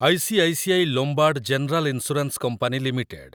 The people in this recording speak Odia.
ICICI Lombard General Insurance Company limited